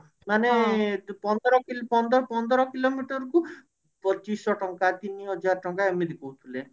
ମାନେ ପନ୍ଦର କି ପନ୍ଦର ପନ୍ଦର କିଲୋମିଟର କୁ ପଚିଶି ଶହ ଟଙ୍କା ତିନିହଜାର ଟଙ୍କା ଏମିତି କହୁଥିଲେ